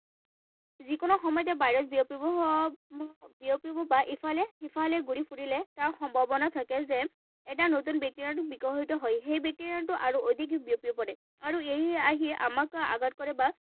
যিকোনো সময়তে ভাইৰাছ বিয়পিব বিয়পিব বা ইফালে সিফালে ঘূৰি ফুৰিলে ইয়াৰ সম্ভাৱনা থাকে যে এটা নতুন বেক্টেৰিয়াৰ বিকশিত হয়। সেই বেক্টেৰিয়াটো আৰু অধিককৈ বিয়পি পৰে। আৰু ইয়ে আহি আমাক আঘাত কৰে বা